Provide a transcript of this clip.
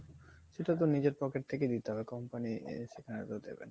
সেটাতো নিজের pocket থেকেই দিতে হবে, company এ~ সেখানে দেবে না